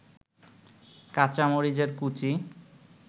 কাঁচামরিচের কুচি